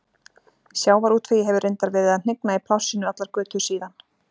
Sjávarútvegi hefur reyndar verið að hnigna í plássinu allar götur síðan.